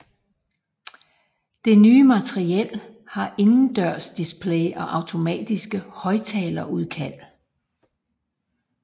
Det nye materiel har indendørsdisplays og automatiske højtalerudkald